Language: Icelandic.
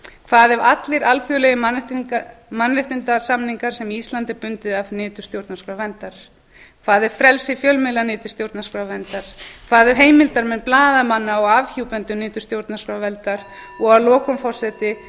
hvað ef allir alþjóðlegir mannréttindasamningar sem ísland er bundið af nytu stjórnarskrárverndar hvað ef frelsi fjölmiðla nyti stjórnarskrárverndar hvað ef heimilda menn blaðamanna og afhjúpendur nytu stjórnarskrárverndar að lokum forseti hvað